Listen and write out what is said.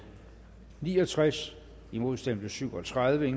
ni og tres imod stemte syv og tredive